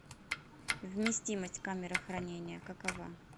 вместимость камеры хранения какова